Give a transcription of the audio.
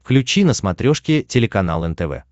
включи на смотрешке телеканал нтв